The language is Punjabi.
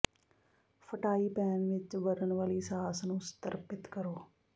ਫਟਾਈ ਪੈਨ ਵਿਚ ਬਨਣ ਵਾਲੀ ਸਾਸ ਨੂੰ ਸੰਤ੍ਰਿਪਤ ਕਰੋ